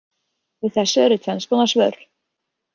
Við þessu eru tvenns konar svör.